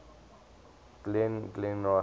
glengarry glen ross